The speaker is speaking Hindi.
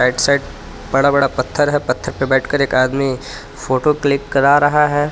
राइट साइड बड़ा बड़ा पत्थर है पत्थर पे बैठकर एक आदमी फोटो क्लिक करा रहा है.